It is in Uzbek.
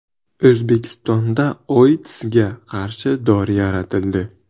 O‘zbekistonda OITSga qarshi dori yaratildi.